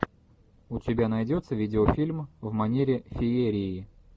у тебя найдется видеофильм в манере феерии